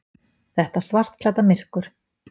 Þetta svartklædda myrkur.